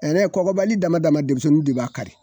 Ɛrɛ kɔkɔbali dama dama demisenniw de b'a kari.